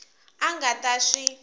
a a nga ta swi